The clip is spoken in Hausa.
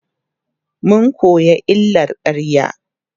mun koya illar ƙarya